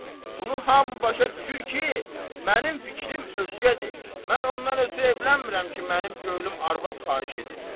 Bunu hamı başa düşür ki, mənim fikrim özgədir, mən ondan ötrü evlənmirəm ki, mənim könlüm arvad xahiş edir.